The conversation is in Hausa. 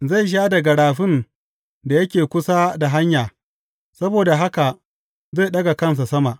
Zai sha daga rafin da yake kusa da hanya; saboda haka zai ɗaga kansa sama.